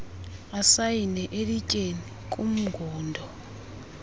asayine elityeni kumngundo